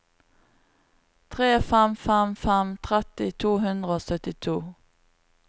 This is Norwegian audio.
tre fem fem fem tretti to hundre og syttito